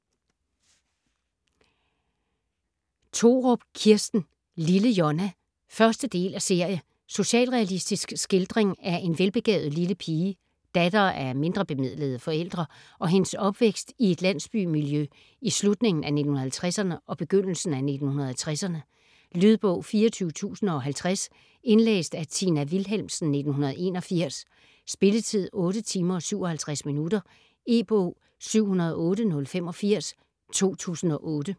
Thorup, Kirsten: Lille Jonna 1. del af serie. Socialrealistisk skildring af en velbegavet lille pige, datter af mindrebemidlede forældre, og hendes opvækst i et landsbymiljø i slutningen af 1950'erne og begyndelsen af 1960'erne. Lydbog 24050 Indlæst af Tina Wilhelmsen, 1981. Spilletid: 8 timer, 57 minutter. E-bog 708085 2008.